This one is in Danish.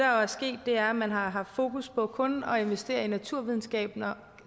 jo er sket er at man har haft fokus på kun at investere i naturvidenskaberne